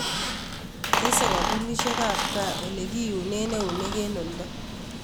Teese koombunisiekaab kaa ole kiyuneen ewuneek en oldo